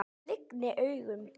Ég lygni augunum.